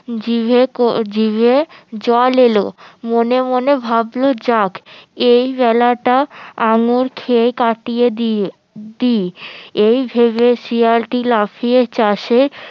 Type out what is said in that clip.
জিভে জিভে জল এলো মনে মনে ভাবলো যাক এই বেলাটা আঙ্গুর খেয়ে কাটিয়ে দিয়ে দি এইভাবে শিয়ালটি লাফিয়ে চাষে